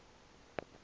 kwaxhosa